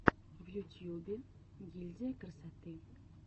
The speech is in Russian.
в ютьюбе гильдия красоты